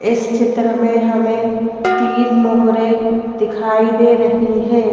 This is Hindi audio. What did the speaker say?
इस चित्र में हमेंतीन मोहरेदिखाई दे रही हैं।